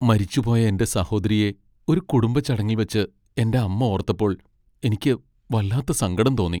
മരിച്ചു പോയ എന്റെ സഹോദരിയെ ഒരു കുടുംബ ചടങ്ങിൽ വച്ച് എന്റെ അമ്മ ഓർത്തപ്പോൾ എനിക്ക് വല്ലാത്ത സങ്കടം തോന്നി.